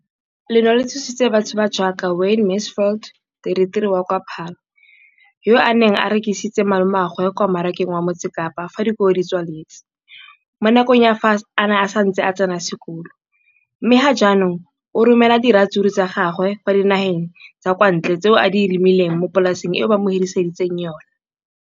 leno le thusitse batho ba ba jaaka Wayne Mansfield, 33, wa kwa Paarl, yo a neng a rekisetsa malomagwe kwa Marakeng wa Motsekapa fa dikolo di tswaletse, mo nakong ya fa a ne a santse a tsena sekolo, mme ga jaanong o romela diratsuru tsa gagwe kwa dinageng tsa kwa ntle tseo a di lemileng mo polaseng eo ba mo hiriseditseng yona.